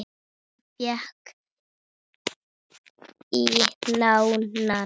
Ég fékk í nárann.